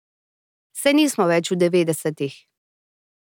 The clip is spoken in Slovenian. Saj nismo več v devetdesetih.